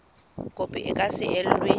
kopo e ka se elwe